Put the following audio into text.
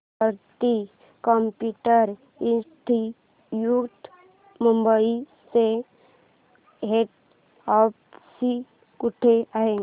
कीर्ती computer institute Mumbai चे head office कुठे आहे